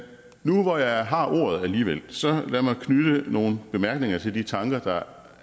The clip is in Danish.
nu hvor jeg har ordet alligevel så lad mig knytte nogle bemærkninger til de tanker